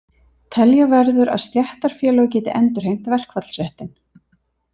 Telja verður að stéttarfélög geti endurheimt verkfallsréttinn.